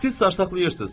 Siz sarsaqlayırsız.